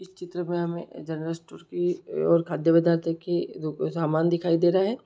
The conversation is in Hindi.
चित्र में हमे जनरल स्टोर की और की दुक-- सामान दिखाई दे रहा है।